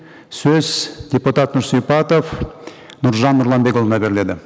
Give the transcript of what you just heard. сөз депутат нұрсипатов нұржан нұрланбекұлына беріледі